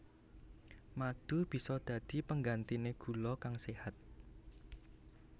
Madu bisa dadi penggantiné gula kang séhat